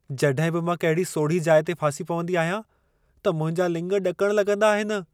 जॾहिं बि मां कहिड़ी सोड़ही जाइ ते फासी पवंदी आहियां, त मुंहिंजा लिङ ॾकण लॻंदा आहिनि।